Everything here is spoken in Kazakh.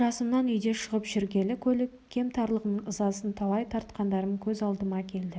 жасымнан үйден шығып жүргелі көлік кемтарлығының ызасын талай тартқандарым көз алдыма келді